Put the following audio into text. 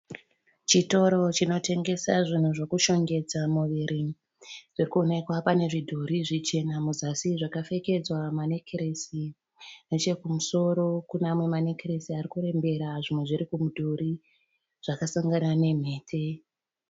Chitoro chinotengesa zvinhu zvokushongedza muviri zviri kuwonekwa pane pazvidhori zvichena muzasi zvakapfekedzwa manekiresi. Nechekumusoro kune amwe manekiresi ari kurembera zvimwe zviri kumudhuri zvakasangana nemhete.